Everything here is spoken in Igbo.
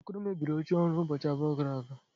Okoro mebiri oche ọrụ ụbọchị abụọ gara aga